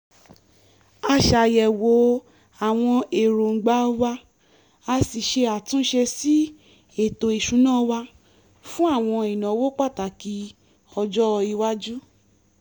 a ṣàyẹ̀wò àwọn èròǹgbà wa a sì ṣe àtúnṣe sí ètò ìsúná wa fún àwọn ìnáwó pàtàkì ọjọ́-iwájú